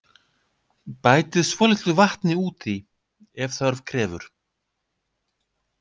Bætið svolitlu vatni út í ef þörf krefur.